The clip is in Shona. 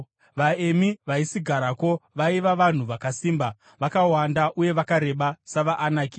(VaEmi vaisigarako vaiva vanhu vakasimba, vakawanda uye vakareba savaAnaki.